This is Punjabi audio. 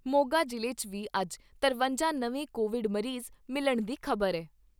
ਮੋਗਾ ਜ਼ਿਲ੍ਹੇ 'ਚ ਵੀ ਅੱਜ ਤਰਵੰਜਾਂ ਨਵੇਂ ਕੋਵਿਡ ਮਰੀਜ਼ ਮਿਲਣ ਦੀ ਖ਼ਬਰ ਐ।